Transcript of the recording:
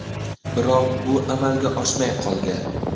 Biroq bu amalga oshmay qolgan.